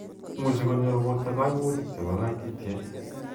Imuchi konyor borto kaimutik che bo kaititiet.